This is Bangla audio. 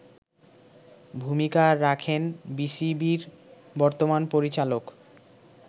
ভূমিকা রাখেন বিসিবির বর্তমান পরিচালক